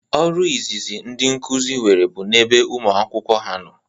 Ọrụ izizi ndị nkuzi nwere bụ na ebe ụmụ akwụkwọ ha nọ